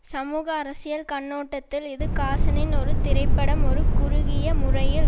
சமூக அரசியல் கண்ணோட்டத்தில் இது காசனின் ஒரு திரைப்பட்டம் ஒரு குறுகிய முறையில்